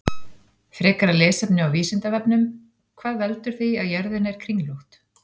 Frekara lesefni á Vísindavefnum: Hvað veldur því að jörðin er kringlótt?